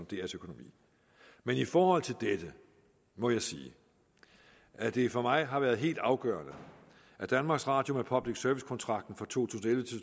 drs økonomi men i forhold til dette må jeg sige at det for mig har været helt afgørende at danmarks radio med public service kontrakten for to